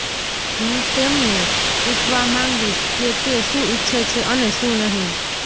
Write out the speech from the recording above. હું તેમને પૂછવા માંગીશ કે તે શું ઇચ્છે છે અને શું નહીં